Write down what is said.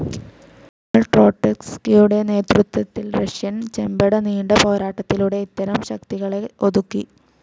എന്നാൽ ട്രോട്സ്കിയുടെ നേതൃത്വത്തിൽ റഷ്യൻ ചെമ്പട നീണ്ട പോരാട്ടത്തിലൂടെ ഇത്തരം ശക്തികളെ ഒതുക്കി.